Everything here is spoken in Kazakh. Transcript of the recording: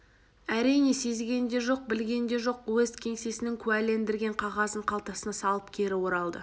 әрине сезген де жоқ білген де жоқ уезд кеңсесінің куәлендірген қағазын қалтасына салып кері оралды